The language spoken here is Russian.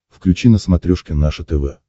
включи на смотрешке наше тв